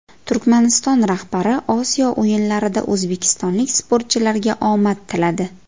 Turkmaniston rahbari Osiyo o‘yinlarida o‘zbekistonlik sportchilarga omad tiladi.